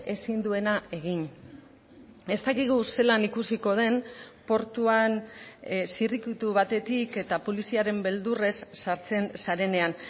ezin duena egin ez dakigu zelan ikusiko den portuan zirrikitu batetik eta poliziaren beldurrez sartzen zarenean